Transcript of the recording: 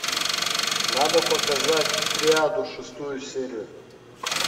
надо показать триаду шестую серию